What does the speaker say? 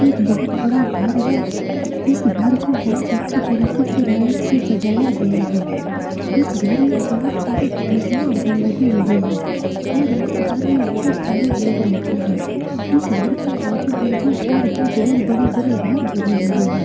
एक बहुत बड़ा घर है इस घर को बहुत अच्छे तरीके से लाइट से सजाया गया है इस घर में बहुत सारे खिड़कियां लगी हुई है और इस घर में बहुत सारे लोग रहते है इस घर की आजु-बाजू और भी बहुत बड़े-बड़े घर बने हुए है।